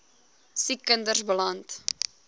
siek kinders beland